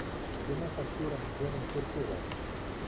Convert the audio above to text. кино с актером джоном туртурро